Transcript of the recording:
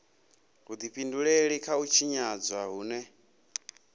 vhudifhinduleli kha u tshinyadzwa hune